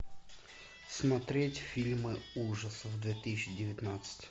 смотреть фильмы ужасов две тысячи девятнадцать